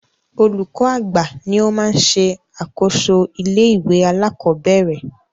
Olúkọ́ àgbà ní o má ń ṣe àkóso ilé ìwé alákọ̀berẹ̀.